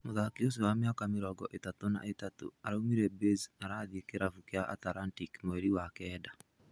Mũthaki ũcio wa mĩaka mĩrongo ĩtatũ na ĩtatu, araumire Baze arathiĩ kĩrabu kĩa Atalantic mweri wa kenda.